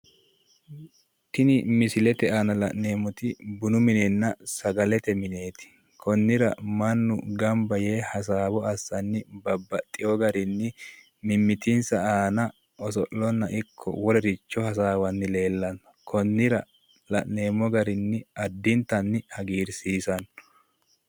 tini misilete aana la'neemmoti bunu minenna sagalete mineeti konnira mannu gamba yee hasaawo assanni babbaxino garinni mimmitinsa aana oso'lono ikko wolericho hasawanni leellanno konnira la'neemmo garinni addintanni hagiirsiisanno.